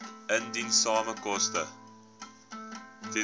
indiensname koste